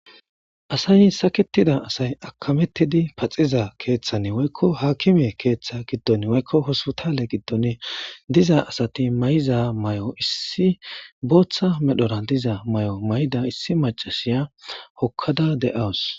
Asay sakketidi aakimetidi paxiza keethan woyko aakime keetha giddoni woyko hospitale gidoni diza asati mayiza mayo booththa mayo mayada issi inda hokkada de'awus.